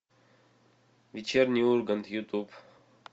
вечерний ургант ютуб